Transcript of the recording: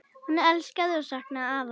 Hún elskaði og saknaði afa.